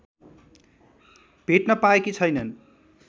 भेट्न पाएकी छैनन्।